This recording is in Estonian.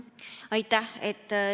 Aitäh!